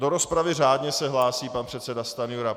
Do rozpravy se řádně hlásí pan předseda Stanjura.